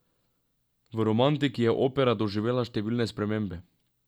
V romantiki je opera doživela številne spremembe.